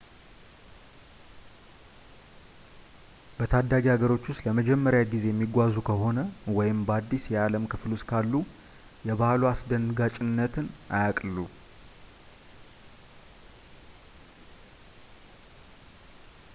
በታዳጊ ሀገሮች ውስጥ ለመጀመሪያ ጊዜ የሚጓዙ ከሆነ ወይም በአዲስ የዓለም ክፍል ውስጥ ካሉ የባህሉ አስደንጋጭነትን አያቅልሉ